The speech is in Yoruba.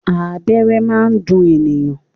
Abẹ́rẹ́ máa ń dùn ènìyàn.